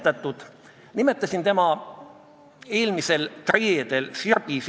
Paljudes riikides on suur hulk teise emakeelega inimesi ja loomulikult on ka nendes riikides riigikeel, mida nad austavad ja kaitsevad.